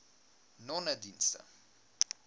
nonedienste